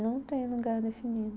Não tem lugar definido.